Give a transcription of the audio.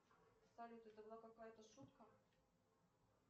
салют это была какая то шутка